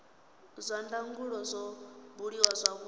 zwa ndangulo zwo buliwa zwavhudi